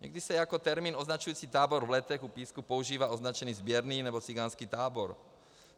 Někdy se jako termín označující tábor v Letech u Písku používá označení sběrný nebo cikánský tábor.